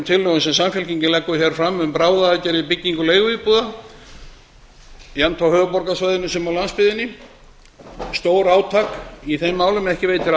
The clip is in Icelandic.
tillögum sem samfylkingin leggur fram um bráðaaðgerð í byggingu leiguíbúða jafnt á höfuðborgarsvæðinu sem á landsbyggðinni stórátak í þeim málum ekki veitir